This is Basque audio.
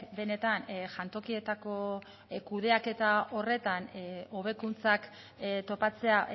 benetan jantokietako kudeaketa horretan hobekuntzak topatzea